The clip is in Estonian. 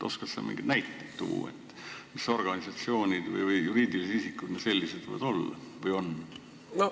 Oskad sa mingeid näiteid tuua, millised organisatsioonid või juriidilised isikud võiksid sellised olla või on?